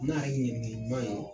N'a yɛrɛ ŋɛniɲɛ ɲuman ye